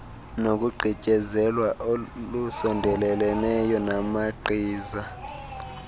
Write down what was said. nokugqityezelwa olusondeleleneyo namagqiza